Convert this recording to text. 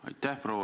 Aitäh!